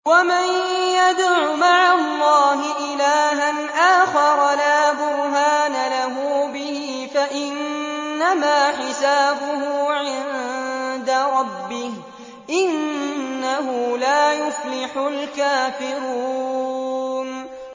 وَمَن يَدْعُ مَعَ اللَّهِ إِلَٰهًا آخَرَ لَا بُرْهَانَ لَهُ بِهِ فَإِنَّمَا حِسَابُهُ عِندَ رَبِّهِ ۚ إِنَّهُ لَا يُفْلِحُ الْكَافِرُونَ